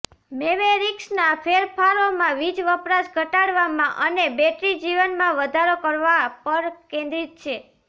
મેવેરિક્સના ફેરફારોમાં વીજ વપરાશ ઘટાડવામાં અને બેટરી જીવનમાં વધારો કરવા પર કેન્દ્રિત છે